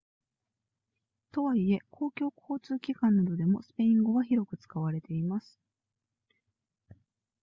とはいえ公共交通機関などでもスペイン語は広く使われています